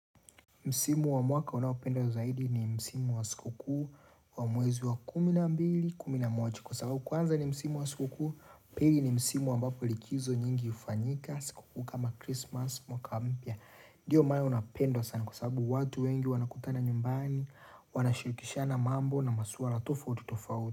Msimu wa mwaka unaopenda zaidi ni Msimu wa siku kui wa mwezi wa kumi na mbili, kumi na moja Kwa sababu kwanza ni Msimu wa siku kuu, pili ni Msimu ambapo likizo nyingi ufanyika Sikoku kama Christmas mwaka mpya Ndiyo maama unapendwa sana kwa sababu watu wengi wanakutana nyumbani Wanashirikisha na mambo na masuara tofauti tofauti.